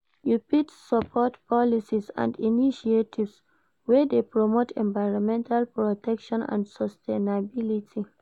you fit support policies and initiatives wey dey promote environmental protection and sustainability.